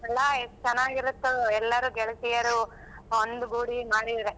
ಅಲ್ಲಾ ಎಷ್ಟ್ ಚನ್ನಾಗಿರುತ್ತದು ಎಲ್ಲರು ಗೆಳತಿಯರು ಒಂದ್ಗೂಡಿ ಮಾಡಿದ್ರೆ.